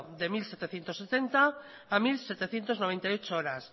de mil setecientos setenta a mil setecientos noventa y ocho horas